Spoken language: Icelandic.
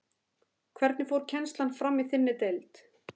Hvernig fór kennslan fram í þinni deild?